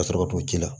Ka sɔrɔ ka to ji la